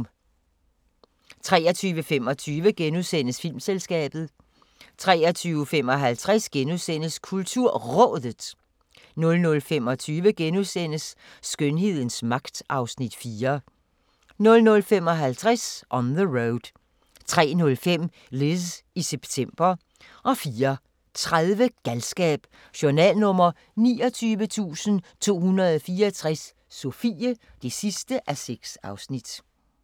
23:25: Filmselskabet * 23:55: KulturRådet * 00:25: Skønhedens magt (Afs. 4)* 00:55: On the Road 03:05: Liz i september 04:30: Galskab: Journal nr. 29.264 – Sofie (6:6)